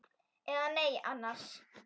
Eða nei annars.